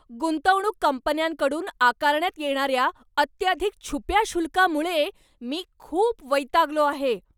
गुंतवणूक कंपन्यांकडून आकारण्यात येणार्या अत्याधिक छुप्या शुल्कामुळे मी खूप वैतागलो आहे.